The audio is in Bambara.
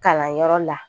Kalanyɔrɔ la